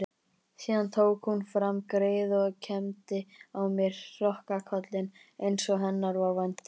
Síðan tók hún fram greiðu og kembdi á mér hrokkinkollinn einsog hennar var vandi.